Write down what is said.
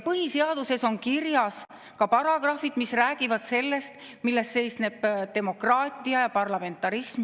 Põhiseaduses on kirjas ka paragrahvid, mis räägivad sellest, milles seisneb demokraatia ja parlamentarism.